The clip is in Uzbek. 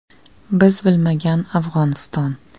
Biz bilmagan Afg‘oniston.